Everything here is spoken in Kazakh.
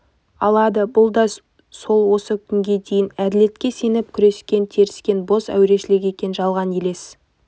алады бұл да сол осы күнге дейін әділетке сеніп күрескен тірескен бос әурешілік екен жалған елес